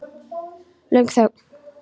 Löng þögn.